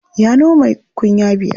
Ya noma kunya biyar.